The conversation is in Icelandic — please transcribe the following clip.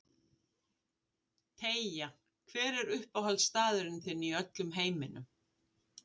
Teygja Hver er uppáhaldsstaðurinn þinn í öllum heiminum?